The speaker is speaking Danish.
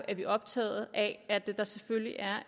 er vi optaget af at der selvfølgelig er